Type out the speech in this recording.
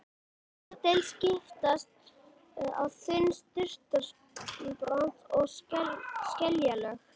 Í þessari deild skiptast á þunn surtarbrands- og skeljalög.